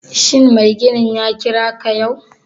Shin mai ginin ya kira ka yau?